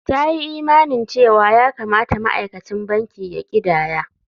Ta yi imanin cewa ya kamata ma'aikacin banki ya ƙidaya.